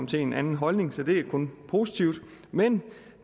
til en anden holdning så det er kun positivt men